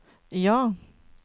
ja